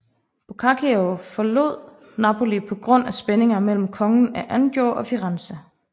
Boccaccio forlod Napoli på grund af spændinger mellem kongen af Anjou og Firenze